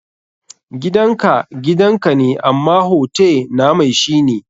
Gidan ka gidan ka ne, amma hote na mai shi ne.